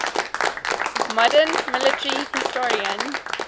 modern military historian